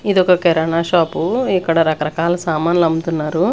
ఇదొక కిరాణ షాపు ఇక్కడ రకరకాల సామాన్లు అమ్ముతున్నారు.